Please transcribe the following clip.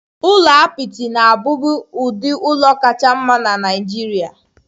Ụlọ apịtị na-abụbu ụdị ụlọ kacha mma na Nigeria.